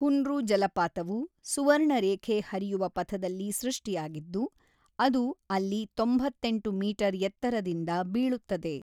ಹುಂಡ್ರು ಜಲಪಾತವು ಸುವರ್ಣರೇಖೆ ಹರಿಯುವ ಪಥದಲ್ಲಿ ಸೃಷ್ಟಿಯಾಗಿದ್ದು, ಅದು ಅಲ್ಲಿ ತೊಂಬತ್ತೆಂಟು ಮೀಟರ್ ಎತ್ತರದಿಂದ ಬೀಳುತ್ತದೆ.